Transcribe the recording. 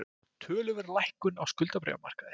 Töluverð lækkun á skuldabréfamarkaði